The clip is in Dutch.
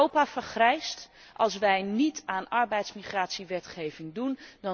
Europa vergrijst als wij niet aan arbeidsmigratiewetgeving doen.